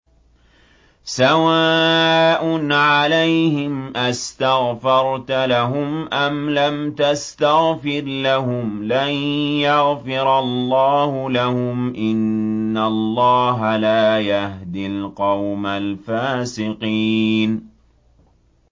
سَوَاءٌ عَلَيْهِمْ أَسْتَغْفَرْتَ لَهُمْ أَمْ لَمْ تَسْتَغْفِرْ لَهُمْ لَن يَغْفِرَ اللَّهُ لَهُمْ ۚ إِنَّ اللَّهَ لَا يَهْدِي الْقَوْمَ الْفَاسِقِينَ